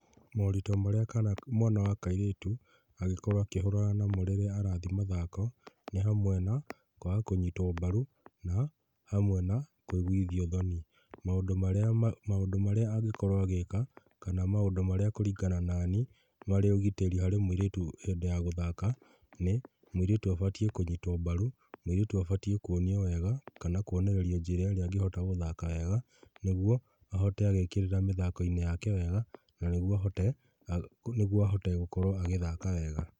Moritũ marĩa mwana wa kairĩtu angĩkorwo akĩhũrana namo rĩrĩa arathiĩ mathako nĩ hamwe na kwaga kũnyitwo mbaru na hamwe na kũiguithio thoni. Maũndũ marĩa angĩkorwo agĩka kana maũndũ marĩa kũringana na niĩ marĩ ũgitĩrĩ harĩ mũirĩtu hĩndĩ ya gũthaka. Nĩ mũirĩtu abatiĩ kũnyitwo mbaru, mũirĩtu abatiĩ kuonio wega kana kuonererio njĩra ĩrĩa angĩhota gũthaka naguo ahote agĩkĩrĩra mĩthako-inĩ yake wega na nĩguo ahote gũkorwo agĩthaka wega.